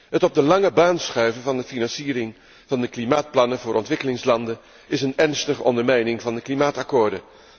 Het op de lange baan schuiven van de financiering van de klimaatplannen voor ontwikkelingslanden is een ernstige ondermijning van de klimaatakkoorden.